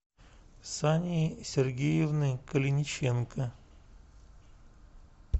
сании сергеевны калиниченко